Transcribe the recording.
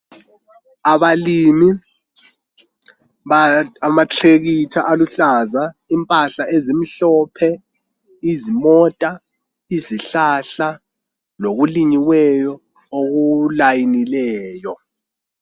abalimi amatrekitha aluhlaza impahla ezimhlophe izimota izihlahla lokulinyiweyo okulayinileyo